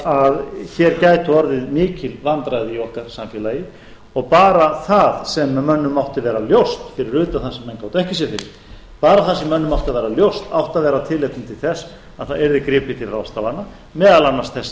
að hér gætu orðið mikil vandræði í okkar samfélagi og bara það sem mönnum mátti vera ljóst fyrir utan það sem menn gátu ekki séð fyrir bara það sem mönnum átti að vera ljóst átti að vera tilefni til þess að það yrði gripið til ráðstafana meðal annars þess